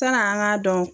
San'an k'a dɔn